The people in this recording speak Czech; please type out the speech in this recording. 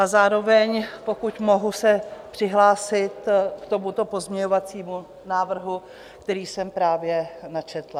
A zároveň pokud mohu se přihlásit k tomuto pozměňovacímu návrhu, který jsem právě načetla.